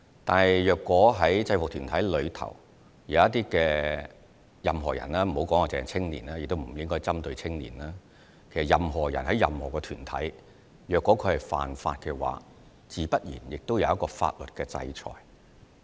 但是，如果在制服團體中有任何人——不止是青年，我們亦不應針對青年——其實任何人在任何團體裏如果犯法，自然會有法律的制裁。